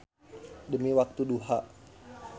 Demi waktu duha.